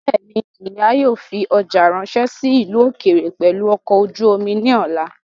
Bẹ́ẹ̀ni, ìyá yóò fi ọjà ráńṣẹ́ sí ìlú ókéré pẹ̀lú ọkọ̀ ojú omi ní ọ̀la